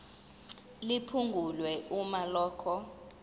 liphungulwe uma lokhu